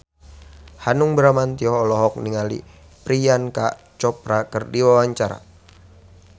Hanung Bramantyo olohok ningali Priyanka Chopra keur diwawancara